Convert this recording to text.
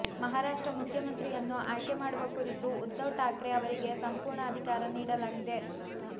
ಮಹಾರಾಷ್ಟ್ರ ಮುಖ್ಯಮಂತ್ರಿಯನ್ನು ಆಯ್ಕೆ ಮಾಡುವ ಕುರಿತು ಉದ್ಧವ್ ಠಾಕ್ರೆ ಅವರಿಗೆ ಸಂಪೂರ್ಣ ಅಧಿಕಾರ ನೀಡಲಾಗಿದೆ